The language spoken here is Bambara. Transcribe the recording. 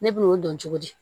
Ne b'o dɔn cogo di